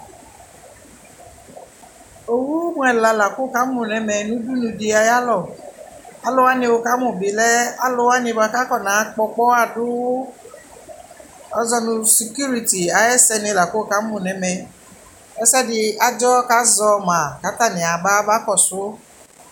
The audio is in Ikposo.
ɔwʋ mʋ ɛla lakʋ wʋ kamʋ nʋ ɛmɛ nʋ ʋdʋnʋ di ayialɔ, alʋ wani wʋ kamʋ bi lɛ alʋ wani bʋakʋ akɔna kpɔ ɔkpɔha dʋ azɔ nʋ security ayɛ sɛ ni lakʋ wʋkamʋ nʋ ɛmɛ, ɛsɛdi adzɔ kʋ azɔ ma kʋ atani aba, aba kɔsʋ